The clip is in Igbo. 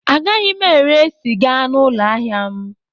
Agaghị m ere sịga n'ụlọ ahịa m a